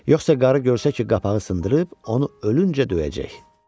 Yoxsa qarı görsə ki, qapağı sındırıb, onu ölüncə döyəcək.